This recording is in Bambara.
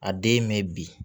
A den ye mɛ bi